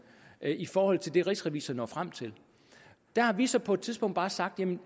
i forhold til det rigsrevisor når frem til der har vi så på et tidspunkt bare sagt at